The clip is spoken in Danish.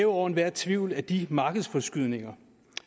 over enhver tvivl at de markedsforskydninger